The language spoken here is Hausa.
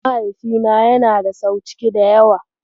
Mahaifina yana da sau ciki da yawa.